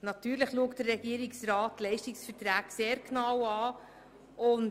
Natürlich schaut der Regierungsrat die Leistungsverträge sehr genau an.